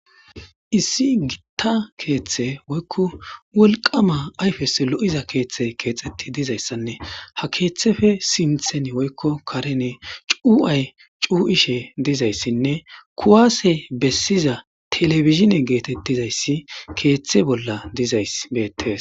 issi gitta keeththe woykko wolqama ayfes lo'iza keeththe keexetti dizayssanne ha keeththefe sinthen woykko karene cu'ay cuu'ishe dizayssinne kuwaase bessiza telebizhine geetettizayssi keeththe bolla dizay beettes